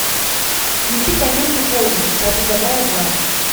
включи ка ленту полночь в саду добра и зла